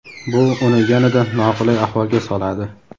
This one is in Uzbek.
Bu uni yanada noqulay ahvolga soladi.